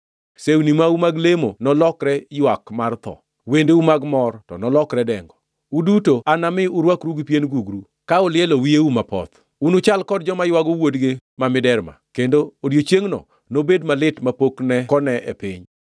Sewni mau mag lemo nolokre ywak mar tho, wendeu mag mor, to nolokre dengo. Uduto anami urwakru gi pien gugru ka ulielo wiyeu mapoth. Unuchal kod joma ywago wuodgi ma miderma, kendo odiechiengʼno nobed malit mapok ne kone e piny.”